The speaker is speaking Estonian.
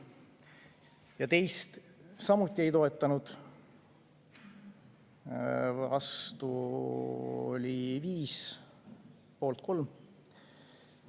Ja teist samuti ei toetanud, vastu oli 5, poolt 3.